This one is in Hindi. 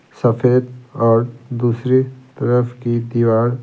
सफेद और दूसरी तरफ की दीवार--